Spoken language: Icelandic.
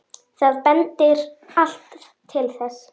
Það bendir allt til þess.